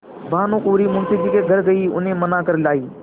भानुकुँवरि मुंशी जी के घर गयी उन्हें मना कर लायीं